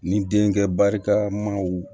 Ni denkɛ barikamaw